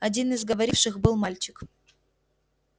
один из говоривших был мальчик